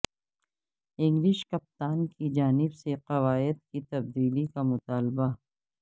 English کپتان کی جانب سے قواعد کی تبدیلی کا مطالبہ